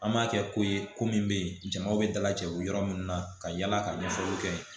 An b'a kɛ ko ye ko min bɛ yen jamaw bɛ dalajɛ yɔrɔ min na ka yala ka ɲɛfɔliw kɛ